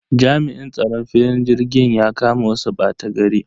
Jami'in tsaron filin jirgin ya kama wasu ɓatagari.